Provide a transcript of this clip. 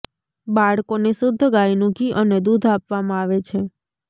બાળકોને શુદ્ધ ગાયનું ઘી અને દૂધ આપવામાં આવે છે